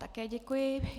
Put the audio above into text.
Také děkuji.